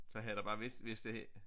Så havde der bare hvis hvis det